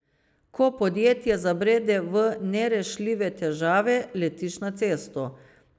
Ko podjetje zabrede v nerešljive težave, letiš na cesto.